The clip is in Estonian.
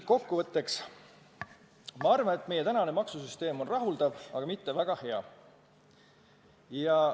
Kokku võttes ma arvan, et meie maksusüsteem on rahuldav, aga mitte väga hea.